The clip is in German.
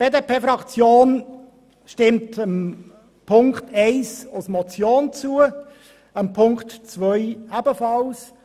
Die BDP-Fraktion stimmt Ziffer 1 als Motion zu, ebenso Ziffer 2.